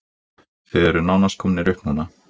Þið eruð nánast komnir upp núna?